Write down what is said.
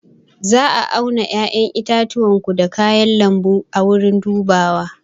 Za a auna 'ya'yan itacenku da kayan lambu a wurin dubawa